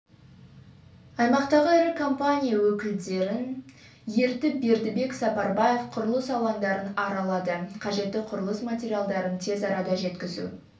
аймақтағы ірі компания өкілдерін ертіп бердібек сапарбаев құрылыс алаңдарын аралады қажетті құрылыс материалдарын тез арада жеткізу